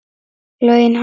Laun hans?